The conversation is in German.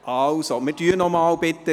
Bitte drücken Sie nochmals.